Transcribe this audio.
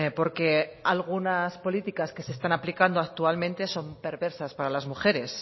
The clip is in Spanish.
porque algunas políticas que se están aplicando actualmente son perversas para las mujeres